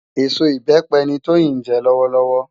Esó ibèpè ni Toyin jè lòwòlòwò